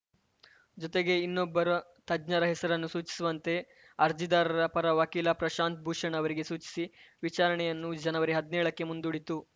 ಜೊತೆಗೆ ಇನ್ನೊಬ್ಬರು ತಜ್ಞರ ಹೆಸರನ್ನು ಸೂಚಿಸುವಂತೆ ಅರ್ಜಿದಾರರ ಪರ ವಕೀಲ ಪ್ರಶಾಂತ್‌ ಭೂಷಣ್‌ ಅವರಿಗೆ ಸೂಚಿಸಿ ವಿಚಾರಣೆಯನ್ನು ಜನವರಿ ಹದ್ನೇಳಕ್ಕೆ ಮುಂದೂಡಿತು